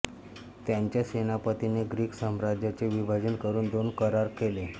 त्याच्या सेनापतींनी ग्रीक साम्राज्याचे विभाजन करून दोन करार केले